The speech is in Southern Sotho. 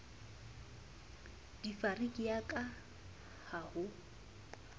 difariki ya ka ha ho